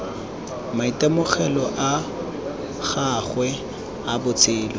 maitemogelo a gagwe a botshelo